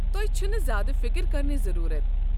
تۄہہِ چھَنہٕ زیادٕ فکر کرنٕچ ضروٗرَت!